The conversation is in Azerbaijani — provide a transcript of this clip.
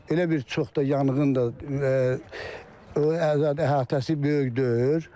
Elə bir çox da yanğın da əhatəsi böyük deyil.